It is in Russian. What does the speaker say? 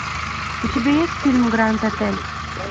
у тебя есть фильм гранд отель